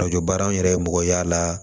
baara an yɛrɛ ye mɔgɔ y'a la